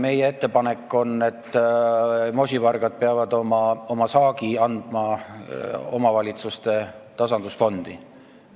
Meie ettepanek on, et moosivargad peavad oma saagi andma omavalitsuste tasandusfondi.